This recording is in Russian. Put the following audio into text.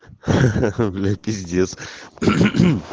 ха ха ха бля пиздец